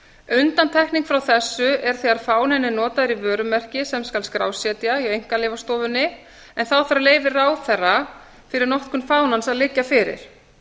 undantekning frá þessu er þegar fáninn er notaður í vörumerki sem skal skrásetja hjá einkaleyfastofunni en þá þarf leyfi ráðherra fyrir notkun fánans að liggja fyrir